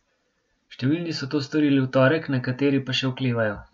Številni so to storili v torek, nekateri pa še oklevajo.